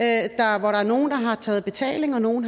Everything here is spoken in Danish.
er nogle der har taget betaling og nogle